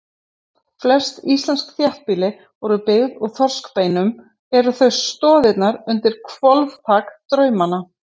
Flest íslensk þéttbýli voru byggð úr þorskbeinum, þau eru stoðirnar undir hvolfþak draumanna.